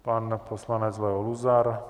Pan poslanec Leo Luzar.